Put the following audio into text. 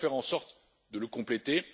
Comment faire en sorte de le compléter?